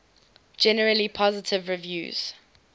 generally positive reviews